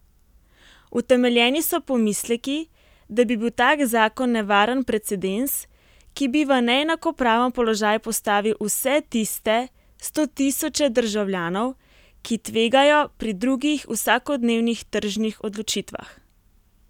Utemeljeni so pomisleki, da bi bil tak zakon nevaren precedens, ki bi v neenakopraven položaj postavil vse tiste stotisoče državljanov, ki tvegajo pri drugih vsakodnevnih tržnih odločitvah.